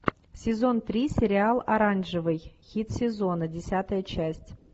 сезон три сериал оранжевый хит сезона десятая часть